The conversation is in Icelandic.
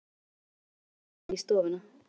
Svo opnar hann inn í stofuna.